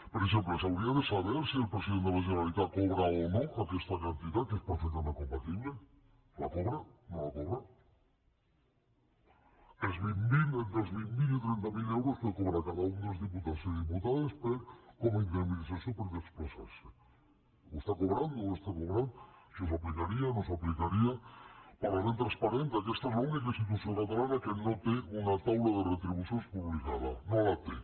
per exemple s’hauria de saber si el president de la generalitat cobra o no aquesta quantitat que és perfectament compatible la cobra no la cobra entre els vint mil i trenta mil euros que cobra cada un dels diputats i diputades com a indemnització per desplaçar se ho està cobrant no ho està cobrant això s’aplicaria no s’aplicaria parlament transparent aquesta és l’única institució catalana que no té una taula de retribucions publicada no la té